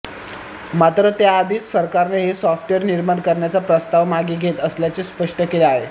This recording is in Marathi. मात्र त्या आधीच सरकारने हे सॉफ्टवेअर निर्माण करण्याचा प्रस्ताव मागे घेत असल्याचे स्पष्ट केले आहे